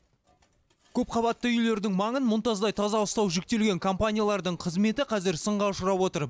көпқабатты үйлердің маңын мұнтаздай таза ұстау жүктелген компаниялардың қызметі қазір сынға ұшырап отыр